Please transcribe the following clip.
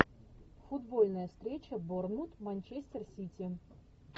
футбольная встреча борнмут манчестер сити